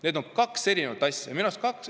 Need on kaks erinevat asja minu arust.